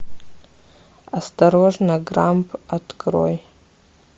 осторожно грамп открой